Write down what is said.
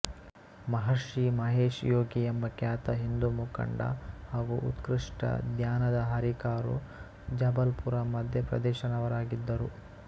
ಮಹರ್ಷಿ ಮಹೇಶ್ ಯೋಗಿ ಎಂಬ ಖ್ಯಾತ ಹಿಂದೂ ಮುಖಂಡ ಹಾಗೂ ಉತ್ಕೃಷ್ಟ ಧ್ಯಾನದ ಹರಿಕಾರು ಜಬಲ್ ಪುರ್ ಮಧ್ಯಪ್ರದೇಶನವರಾಗಿದ್ದರು